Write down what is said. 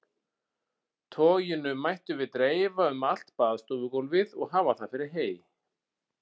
Toginu mættum við dreifa um allt baðstofugólfið og hafa það fyrir hey.